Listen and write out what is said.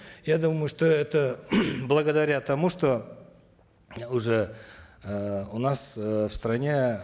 я думаю что это благодаря тому что уже эээ у нас э в стране